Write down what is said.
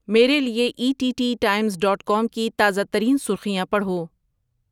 میرے لیے E T T Times dot com کی تازہ ترین سرخیاں پڑھو